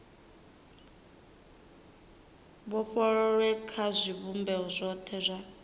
vhofholowe kha zwivhumbeo zwothe zwa